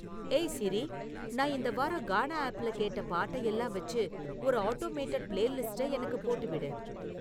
ஏய் சிரி நான் இந்த வாரம் கானா ஆப்ல கேட்ட பாட்ட எல்லாம் வெச்சு ஒரு ஆட்டோமேடெட் பிளேலிஸ்ட்ட எனக்குப் போட்டு விடு